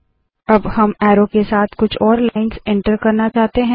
अब हम एरो के साथ कुछ और लाइन्स एन्टर करना चाहते है